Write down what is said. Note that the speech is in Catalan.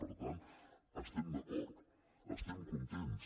per tant estem d’acord estem contents